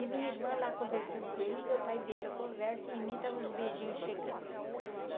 E o minha irmã lá conversando com ele, meu pai vendo a conversa e em mim estavam os beijinhos chegando.